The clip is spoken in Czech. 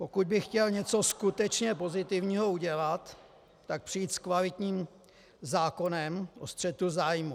Pokud by chtěl něco skutečně pozitivního udělat, tak přijít s kvalitním zákonem o střetu zájmů.